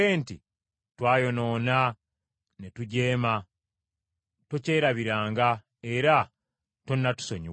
“Twayonoona ne tujeema, tokyerabiranga era tonatusonyiwa.